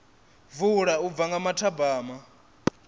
vula u bva nga mathabama